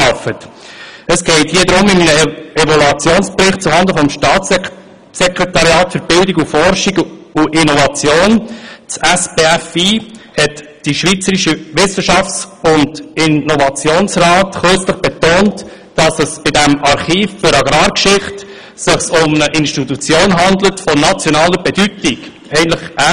In einem Evaluationsbericht zuhanden des Staatssekretariats für Bildung, Forschung und Innovation (SBFI) hat der Schweizerische Wissenschafts- und Innovationsrat (SWIR) kürzlich betont, beim Archiv für Agrargeschichte handle es sich um eine Institution von nationaler Bedeutung – eigentlich ähnlich wie bei der Gosteli-Stiftung.